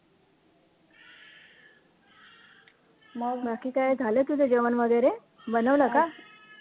मग बाकी काय झालं तुझं जेवण वैगरे, बनवलं का?